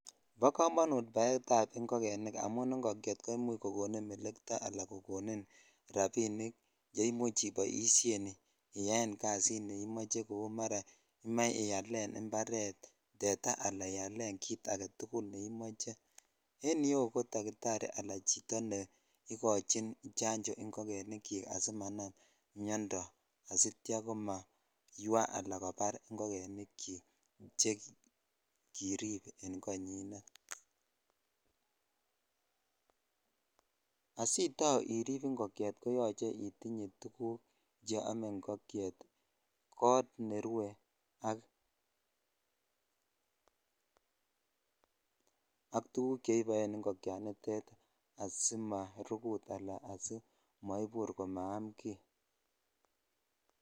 Bo komonut baet ab ingogenik amun ingokyet ko imuch kokonin mellito ala kokonin rabinik che imuch iboishen iyaen kasit neimoche koi mara imoche ialen imparet tetaa ala iyelen kit agetukul ne imoche en yuu ko dakitati ala chito ne ikochin janjoo ingogenik chik asimanam miondoo asitya ko maywa ala sibabar ingogenik chik chekirip en koninet . Asitao irip ingokyet koyoche itinye tuguk cheome ingokyet kot nerue ak tuguk che iboen ingogenik nitet asimarujut ala asimaibur komaam kii.